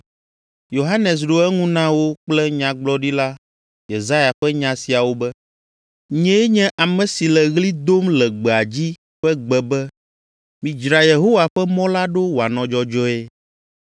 Yohanes ɖo eŋu na wo kple Nyagblɔɖila Yesaya ƒe nya siawo be, “Nyee nye ame si le ɣli dom le gbea dzi ƒe gbe be, ‘Midzra Yehowa ƒe mɔ la ɖo wòanɔ dzɔdzɔe.’ ”